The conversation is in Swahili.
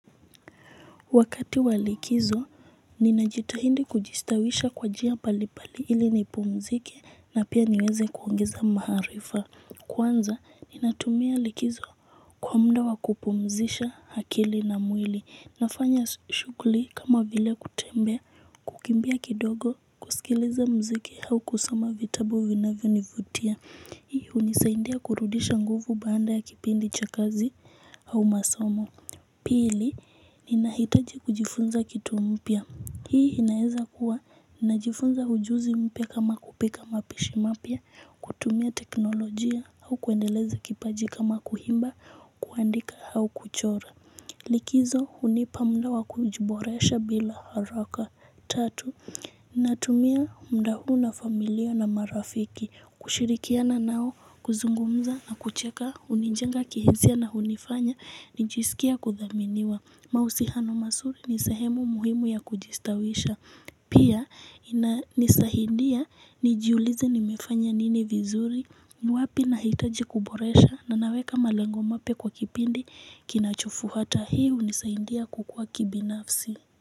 Wakati wa likizo ninajitahidi kujistawisha kwa njia mbalimbali ili nipumziki na pia niweze kuongeza maarifa. Kwanza, ninatumia likizo kwa mda wa kupumzisha akili na mwili. Nafanya shughuli kama vile kutembea kukimbia kidogo kusikileza mziki au kusoma vitabu vinavyo nivutia. Hii hunisaidia kurudisha nguvu baada ya kipindi cha kazi au masomo. Pili, ninahitaji kujifunza kitu mpya. Hii inaeza kuwa nina jifunza ujuuzi mpya kama kupika mapishi mapya, kutumia teknolojia au kuendeleza kipaji kama kuimba, kuandika au kuchora. Likizo hunipa muda wa kujiboresha bila haraka. Tatu, natumia muda huu na familia na marafiki, kushirikiana nao, kuzungumza na kucheka, hunijenga kihisia na hunifanya nijisikie kudhaminiwa mahusiano mazuri ni sahemu muhimu ya kujistawisha. Pia, ina nisaidia nijiulize nimefanya nini vizuri wapi nahitaji kuboresha, na naweka malango mapya kwa kipindi kinachofuata, hii hunisaindia kukua kibinafsi.